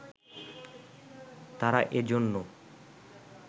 তারা এজন্য